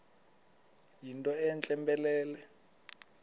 yinto entle mpelele